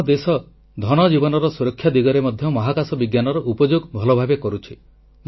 ଆମ ଦେଶ ଧନଜୀବନର ସୁରକ୍ଷା ଦିଗରେ ମଧ୍ୟ ମହାକାଶ ବିଜ୍ଞାନର ଉପଯୋଗ ଭଲଭାବେ କରୁଛି